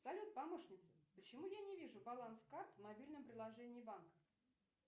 салют помощница почему я не вижу баланс карт в мобильном приложении банка